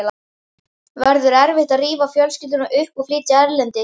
Verður erfitt að rífa fjölskylduna upp og flytja erlendis?